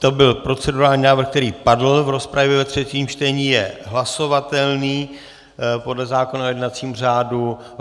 To byl procedurální návrh, který padl v rozpravě ve třetím čtení, je hlasovatelný podle zákona o jednacím řádu.